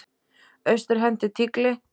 Austur henti tígli.